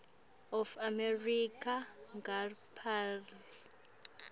of america ngaapreli